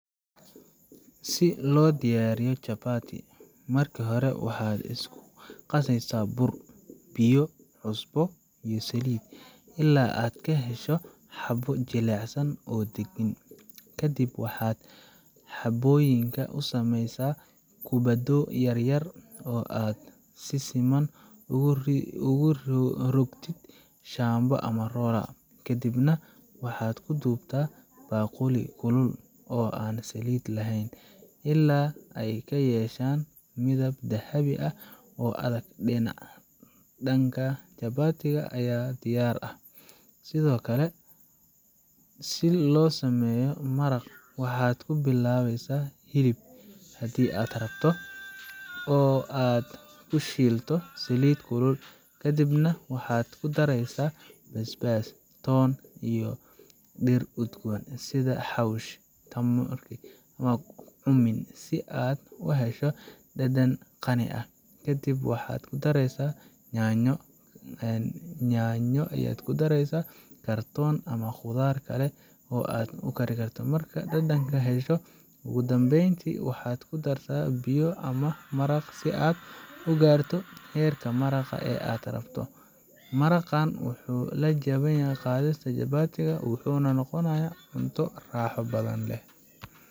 Si lo diyariyo jabati, marki hore waxa isku qaseysaa buur, biyo, cusbo iyo saliid, ila aad kahesho xabaad jelecsan oo daqan, kadiib waxaa xaboyinka u sameysaa kubaadho yar yar oo aad si siman ogu rugtee shambo ama rora kadiib nah waxaa ku dubtaa baquli oo an saliid laheyn ila ee kayeshan midab dahabi ah oo adhag dinaca, jabatiga aya diyar ah sithokale si lo sameyo maraaq, waxaa ku bilaweysaa hilib hadii aad rabto oo aad ku shilto saliid kulel kadiib nah waxaa kudareysaa basbas toon iyo deer gad gaduthan sitha si xawshi, aad u hesha dadan qani ah, kadiib waxaa ku dareysaa yanyo aya kudareysaa kartun ama qudhaar kale oo aad kudari karto, marki aad dadan kesho ugu danben waxaa ku dartaa biyo ama maraaq si ee u garto heerka maraqa ee aad rabto, maraqan wuxuu lajawan yahay qadhista jabatigaa wuxuu noqonaya cunto raxo badan leh.